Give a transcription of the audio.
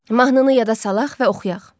Mahnını yada salaq və oxuyaq.